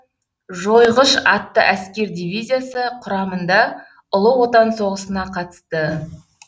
жойғыш атты әскер дивизиясы құрамында ұлы отан соғысына қатысты